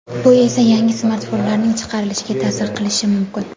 Bu esa yangi smartfonlarning chiqarilishiga ta’sir qilishi mumkin.